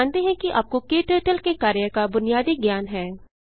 हम मानते हैं कि आपको क्टर्टल के कार्य का बुनियादी ज्ञान है